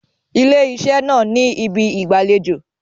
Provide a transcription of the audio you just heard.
Ilé iṣẹ́ náà ni ibi ìgbàlejò.